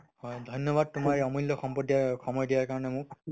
হয়, ধন্যবাদ তোমাৰ এই অমূল্য সম্পদ দিয়াৰ সময় দিয়াৰ কাৰণে মোক